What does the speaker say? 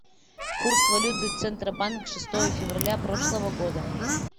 курс валюты центробанк шестое февраля прошлого года